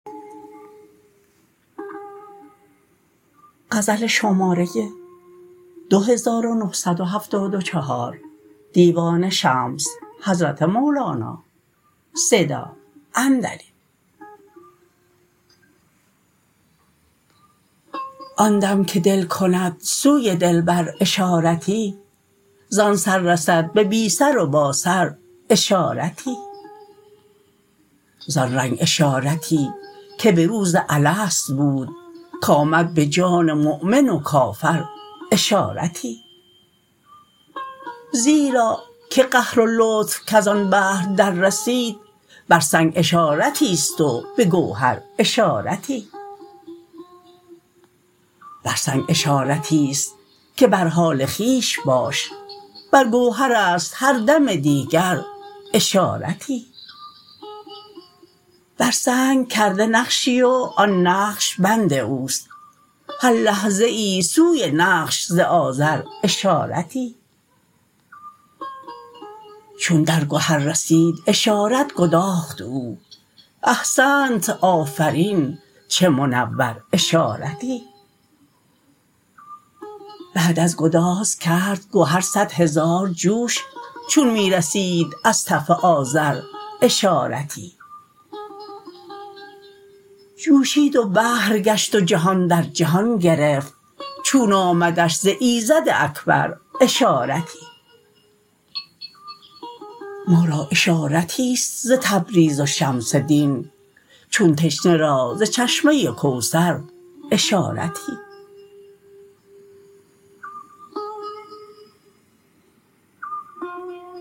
آن دم که دل کند سوی دلبر اشارتی زان سر رسد به بی سر و باسر اشارتی زان رنگ اشارتی که به روز الست بود کآمد به جان مؤمن و کافر اشارتی زیرا که قهر و لطف کز آن بحر دررسید بر سنگ اشارتی است و به گوهر اشارتی بر سنگ اشارتی است که بر حال خویش باش بر گوهر است هر دم دیگر اشارتی بر سنگ کرده نقشی و آن نقش بند او است هر لحظه سوی نقش ز آزر اشارتی چون در گهر رسید اشارت گداخت او احسنت آفرین چه منور اشارتی بعد از گداز کرد گهر صد هزار جوش چون می رسید از تف آذر اشارتی جوشید و بحر گشت و جهان در جهان گرفت چون آمدش ز ایزد اکبر اشارتی ما را اشارتی است ز تبریز و شمس دین چون تشنه را ز چشمه کوثر اشارتی